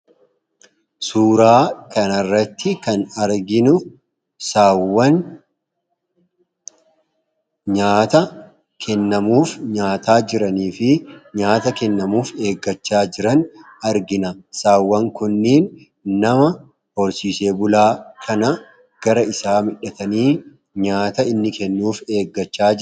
Suuraa kana irratti kan arginu, sa'awwan nyaata kennamuuf nyaataa jiranii fi nyaata kennamuuf eeggachaa jiran argina. sa'awwan kunneen nama horsiisee bulaa kana gara isaa midhatanii nyaata inni kennuuf eeggachaa jiraniidha.